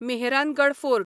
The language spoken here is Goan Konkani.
मेहरानगड फोर्ट